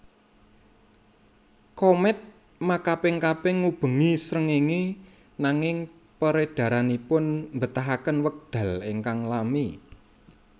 Komèt makaping kaping ngubengi srengéngé nanging peredaranipun mbetahaken wekdal ingkang lami